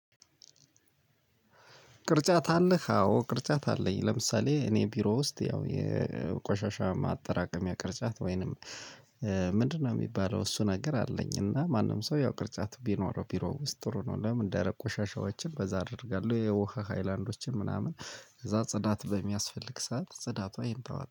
ቅርጫት አለህ? አዎ ቅርጫት አለኝ። ለምሳሌ እኔ ቢሮ ውስጥ ያው የቆሻሻ ማጠራቀሚያ ቅርጫት ወይንም ምንድነው የሚባለው እሱ ነገር አለኝ እና ማንም ሰው ያው ቅርጫት ቢኖረው ቢሮ ውስጥ ጥሩ ነው። ለምን እንደረ ቆሻሻዎችን በዛ አደርጋለሁ፣ የውሃ ሃይላንዶችን ምናምን ከዛ ጽዳት በሚያስፈልግ ሰዓት ጽዳት ይሄን